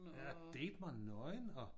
Ja Date mig nøgen og